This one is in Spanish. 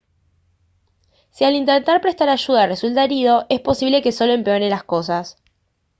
si al intentar prestar ayuda resulta herido es posible que solo empeore las cosas